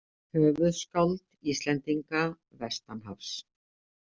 Höfuðskáld Íslendinga vestanhafs.